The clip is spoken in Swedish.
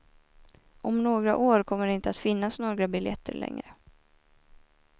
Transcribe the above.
Om några år kommer det inte att finnas några biljetter längre.